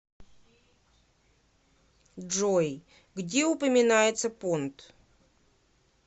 джой где упоминается понт